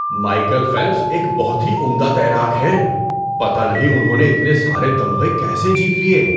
Michael Phelps ایک بہت ہی عمدہ تیراک ہیں۔ پتہ نہیں انہوں نے اتنے سارے تمغے کیسے جیت لیے!